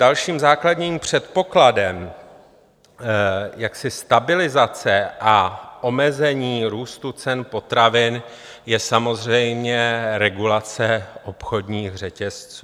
Dalším základním předpokladem stabilizace a omezení růstu cen potravin je samozřejmě regulace obchodních řetězců.